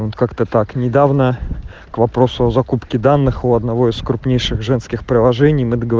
как-то так недавно к вопросу о закупке данных у одного из крупнейших женских приложений